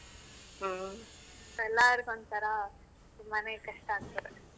ಎಲ್ಲಾರ್ಗು ಒಂತರಾ ತುಂಬಾನೆ ಕಷ್ಟ ಆಗ್ತಿದೆ.